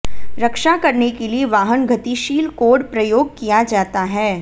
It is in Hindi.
रक्षा करने के लिए वाहन गतिशील कोड प्रयोग किया जाता है